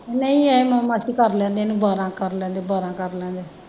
ਨਹੀਂ ਇਹਨੂੰ ਮਾਸੀ ਕਰ ਲੈਣ ਦੇ ਇਹਨੂੰ ਬਾਰਾਂ ਕਰ ਲੈਣ ਦੇ ਬਾਰਾਂ ਕਰ ਲੈਣ ਦੇ।